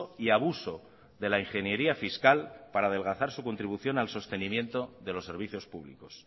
y abuso de la ingeniería fiscal para adelgazar su contribución al sostenimiento de los servicios públicos